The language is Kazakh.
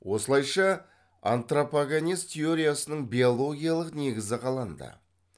осылайша антропогенез теориясының биологиялық негізі қаланды